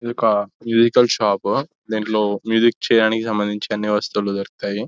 ఇదొక musical shop దీంట్లో music చేయడానికి సంబంధించి అన్ని వస్తువులు దొరుకుతాయి --